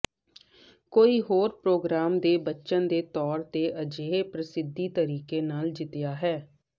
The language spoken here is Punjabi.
ਕੋਈ ਹੋਰ ਪਰੋਗਰਾਮ ਦੇ ਬਚਨ ਦੇ ਤੌਰ ਤੇ ਅਜਿਹੇ ਪ੍ਰਸਿੱਧੀ ਤਰੀਕੇ ਨਾਲ ਜਿੱਤਿਆ ਹੈ